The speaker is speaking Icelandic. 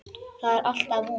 Það er alltaf von.